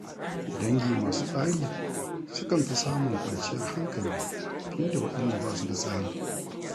Dangi masu tsari sukan fi samun kwanciyar hankali fiye da waɗanda ba su da tsari.